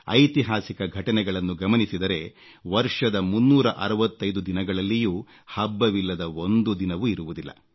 ಐತಿಹಾಸಿಕ ಘಟನೆಗಳನ್ನು ಗಮನಿಸಿದರೆ ವರ್ಷದ 365 ದಿನಗಳಲ್ಲಿಯೂ ಹಬ್ಬವಿಲ್ಲದ ಒಂದು ದಿನವೂ ಇರುವುದಿಲ್ಲ